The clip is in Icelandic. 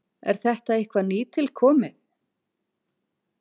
Er þetta eitthvað nýtilkomið?